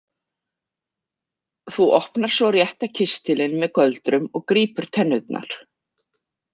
Þú opnar svo rétta kistilinn með göldrum og grípur tennurnar.